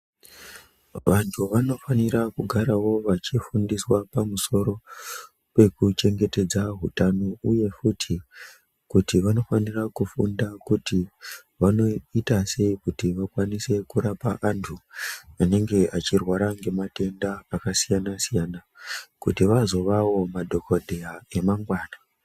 Vantu vanofanira kugaravo vachifundiswa pamusoro pekuchengetedza hutano, uye futi kuti vanofanira kufunda kuti vanoita sei kuti vakwanise kurapa antu anenge achirwara ngematenda akasiyana-siyana. Kuti vazovavo madhogodheya emangana.